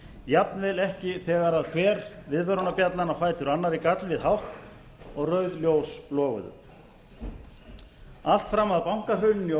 jafnvel ekki þegar hver viðvörunarbjallan á fætur annarri gall við hátt og rauð ljós loguðu allt fram að bankahruninu í